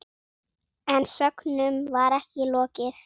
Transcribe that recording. En sögnum var ekki lokið.